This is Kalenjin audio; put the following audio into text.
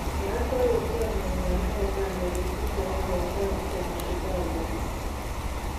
Kora kioror chomie nywan ak obanda betut agenge eng townit tab Chicago